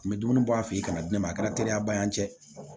N bɛ dumuni bɔ an fɛ yen ka na di ne ma a kɛra teriyaba ye